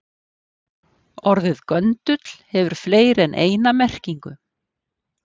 Orðið göndull hefur fleiri en eina merkingu.